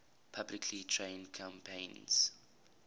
publicly traded companies